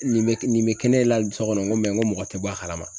Nin be, nin be kɛ ne la so kɔnɔ n ko mɔgɔ tɛ bɔ a kalama.